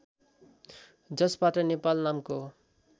जसबाट नेपाल नामको